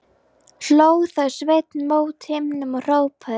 Hló þá Sveinn mót himninum og hrópaði: